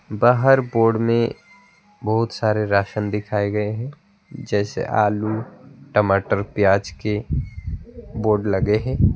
बाहर बोर्ड मे बहुत सारे राशन दिखाए गए है जैसे आलू टमाटर प्याज के बोर्ड लगे है।